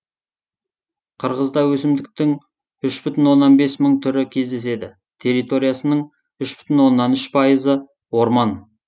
қырғызда өсімдіктің үш бүтін оннан бес мың түрі кездеседі территориясының үш бүтін оннан үш пайызы орман